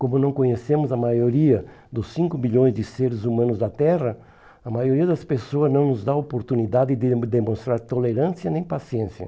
Como não conhecemos a maioria dos cinco bilhões de seres humanos da Terra, a maioria das pessoas não nos dá a oportunidade de demonstrar tolerância nem paciência.